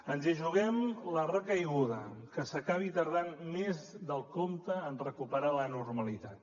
ens hi juguem la recaiguda que s’acabi tardant més del compte en recuperar la normalitat